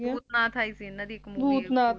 ਭੂਤਨਾਥ ਆਈ ਸੀ ਇਹਨਾਂ ਦੀ ਇਕ Movie